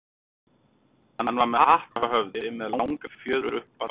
Hann var með hatt á höfði með langri fjöður upp úr bandinu.